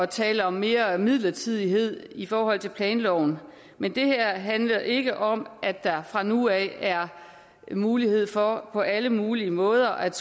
tale om mere midlertidighed i forhold til planloven men det her handler ikke om at der fra nu af er mulighed for på alle mulige måder at